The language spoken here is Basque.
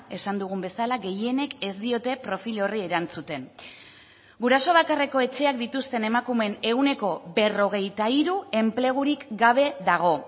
esan dugun bezala gehienek ez diote profil horri erantzuten guraso bakarreko etxeak dituzten emakumeen ehuneko berrogeita hiru enplegurik gabe dago